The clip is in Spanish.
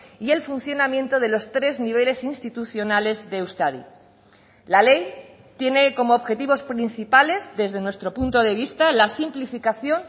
y el funcionamiento de los tres niveles institucionales de euskadi la ley tiene como objetivos principales desde nuestro punto de vista la simplificación